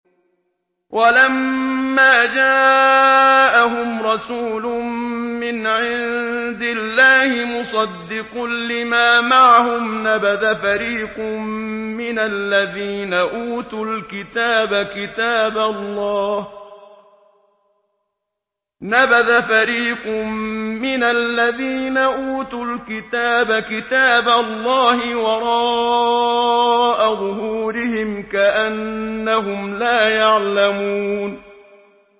وَلَمَّا جَاءَهُمْ رَسُولٌ مِّنْ عِندِ اللَّهِ مُصَدِّقٌ لِّمَا مَعَهُمْ نَبَذَ فَرِيقٌ مِّنَ الَّذِينَ أُوتُوا الْكِتَابَ كِتَابَ اللَّهِ وَرَاءَ ظُهُورِهِمْ كَأَنَّهُمْ لَا يَعْلَمُونَ